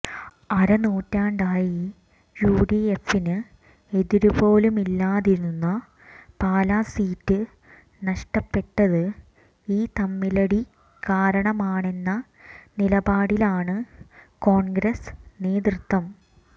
അരനൂറ്റാണ്ടായി യുഡിഎഫിന് എതിരുപോലുമില്ലാതിരുന്ന പാലാ സീറ്റ് നഷ്ടപ്പെട്ടത് ഈ തമ്മിലടി കാരണമാണെന്ന നിലപാടിലാണ് കോൺഗ്രസ് നേതൃത്വം